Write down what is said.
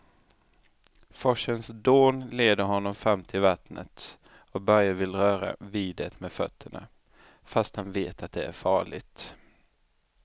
Forsens dån leder honom fram till vattnet och Börje vill röra vid det med fötterna, fast han vet att det är farligt.